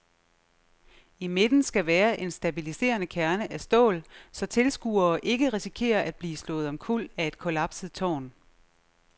I midten skal være en stabiliserende kerne af stål, så tilskuere ikke risikerer at blive slået omkuld af et kollapset tårn.